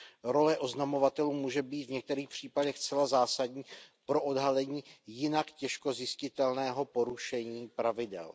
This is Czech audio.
Role oznamovatelů může být v některých případech zcela zásadní pro odhalení jinak těžko zjistitelného porušení pravidel.